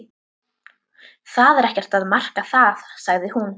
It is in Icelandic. Það er ekkert að marka það sagði hún.